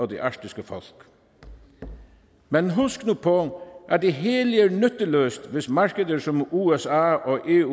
det arktiske folk men husk nu på at det hele er nytteløst hvis markeder som usa og eu